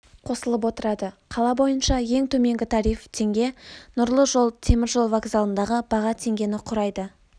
қосылып отырады қала бойынша ең төменгі тариф теңге нұрлы жол теміржол вокзалындағы баға теңгені құрайды